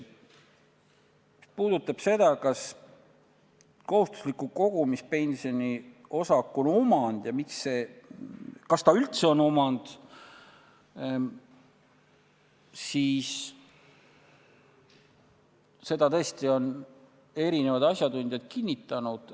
Mis puudutab seda, kas kohustusliku kogumispensioni osak on omand – kas ta üldse on omand –, siis seda on tõesti erinevad asjatundjad kinnitanud.